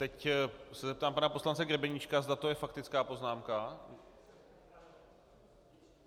Teď se zeptám pana poslance Grebeníčka, zda to je faktická poznámka?